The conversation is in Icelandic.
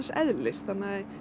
eðlis þannig að